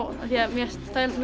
mér finnst þægilegt